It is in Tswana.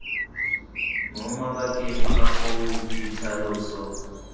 mo mabakeng a foo ditlhaloso